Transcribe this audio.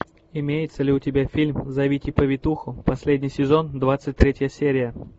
имеется ли у тебя фильм зовите повитуху последний сезон двадцать третья серия